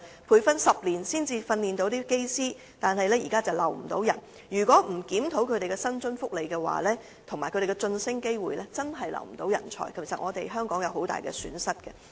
培訓10年的人才，卻不能將他們留在隊內，如再不檢討他們的薪津福利和晉升機會，確實會留不住人才，這將是香港的極大損失。